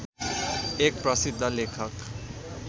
एक प्रसिद्ध लेखक